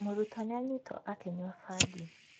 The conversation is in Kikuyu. Mũrutwo nĩ anyitwo akĩnyua bangi.